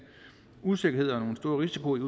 usikkerhed og en stor risiko i